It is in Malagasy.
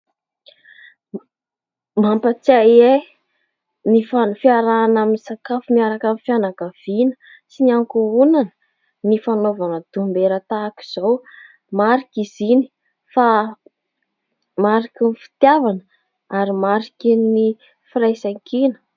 Mampatsiahy ahy ny fiarahana misakafo miaraka ny fianakaviana sy ny ankohonana ny fanaovana dombera tahaka izao, marika izy iny fa mariky ny fitiavana ary mariky ny firaisankina.